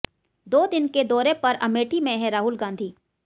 दो दिन के दौरे पर अमेठी में हैं राहुल गांधी